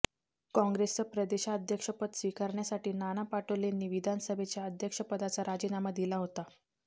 काँग्रेसचं प्रदेशाध्यक्षपद स्वीकारण्यासाठी नाना पटोलेंनी विधानसभेच्या अध्यक्षपदाचा राजीनामा दिला होता